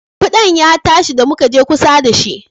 Ƙudan ya tashi da muka je kusa da shi